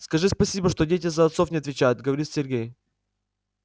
скажи спасибо что дети за отцов не отвечают говорит сергей